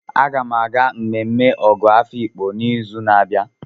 Aga m aga mmemme Ọgọ Afiikpo n'izu na-abịa.